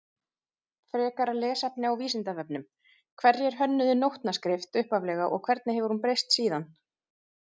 Frekara lesefni á Vísindavefnum Hverjir hönnuðu nótnaskrift upphaflega og hvernig hefur hún breyst síðan?